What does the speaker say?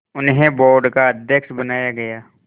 उन्हें बोर्ड का अध्यक्ष बनाया गया